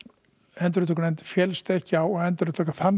endurupptöknefnd féllst ekki á að endurupptaka þann